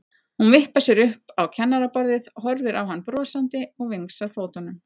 Hún vippar sér upp á kennaraborðið, horfir á hann brosandi og vingsar fótunum.